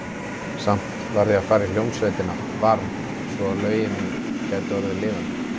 Samt varð ég að fara í hljómsveitina, varð, svo að lögin mín gætu orðið lifandi.